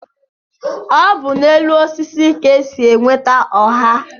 Ọ bu n'elu osisi ka-esi enweta oha